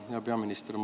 Hea peaminister!